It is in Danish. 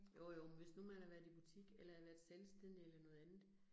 Jo jo, men hvis nu man har været i butik eller været selvstændig eller noget andet